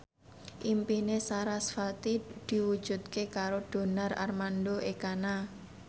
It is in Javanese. impine sarasvati diwujudke karo Donar Armando Ekana